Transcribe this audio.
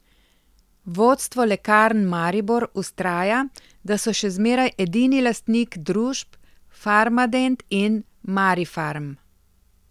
Vodstvo Lekarn Maribor vztraja, da so še zmeraj edini lastnik družb Farmadent in Marifarm.